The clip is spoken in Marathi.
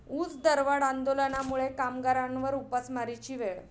ऊसदरवाढ आंदोलनामुळे कामगारांवर उपासमारीची वेळ